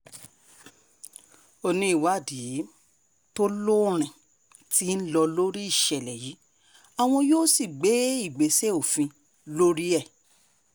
ó ní ìwádìí tó lóòrìn tí ń lọ lórí ìṣẹ̀lẹ̀ yìí àwọn yóò sì gbé ìgbésẹ̀ òfin lórí ẹ̀